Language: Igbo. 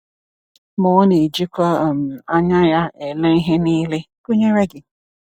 Ma Ọ na-ejikwa um anya Ya ele ihe niile, gụnyere gị.